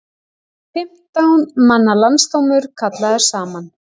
Fimmtán manna landsdómur kallaður saman